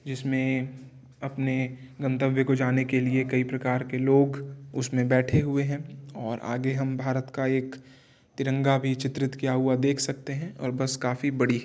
जिसमे अपने गंतव्य को जाने के लिए कई प्रकार के लोग उसमे बैठे हुए हैं और आगे हम भारत का एक तिरंगा भी चित्रित किया हुआ देख सकते हैं और बस काफी बड़ी --